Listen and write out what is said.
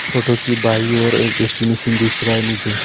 Photo की बाइ और एक ऐ_सी मशीन दिख रहा है मुझे।